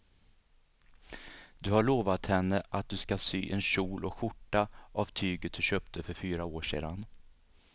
Du har lovat henne att du ska sy en kjol och skjorta av tyget du köpte för fyra år sedan.